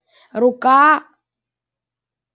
рука